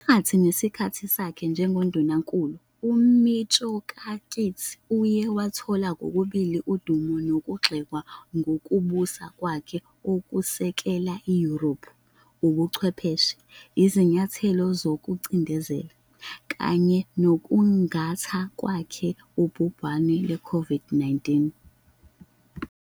Phakathi nesikhathi sakhe njengoNdunankulu, uMitsotakis uye wathola kokubili udumo nokugxekwa ngokubusa kwakhe okusekela iYurophu, Ubuchwepheshe, izinyathelo zokucindezela, kanye nokusingatha kwakhe ubhubhane lwe-COVID-19.